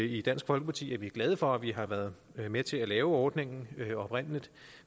i dansk folkeparti er vi glade for at vi har været med til at lave ordningen oprindelig